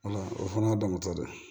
o fana y'a damanatɔ de ye